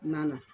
Na na